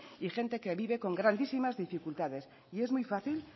y gente que vive con grandísimas dificultades y es muy fácil